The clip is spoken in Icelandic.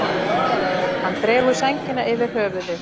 Hann dregur sængina yfir höfuðið.